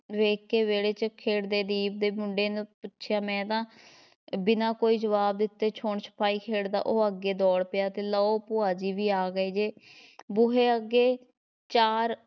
ਵੇਖਕੇ ਵਿਹੜੇ ‘ਚ ਖੇਡਦੇ ਦੀਪ ਦੇ ਮੁੰਡੇ ਨੂੰ ਪੁੱਛਿਆ ਮੈਂ ਤਾਂ ਬਿਨਾ ਕੋਈ ਜਵਾਬ ਦਿੱਤੇ ਛੂਹਣ ਛਪਾਈ ਖੇਡਦਾ, ਉਹ ਅੱਗੇ ਦੌੜ ਪਿਆ ਤੇ ਲਓ ਭੁਆ ਜੀ ਵੀ ਆ ਗਏ ਜੇ ਬੂਹੇ ਅੱਗੇ ਚਾਰ